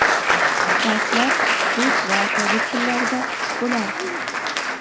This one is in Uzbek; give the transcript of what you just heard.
Darslar rus va tojik tillarida bo‘lardi.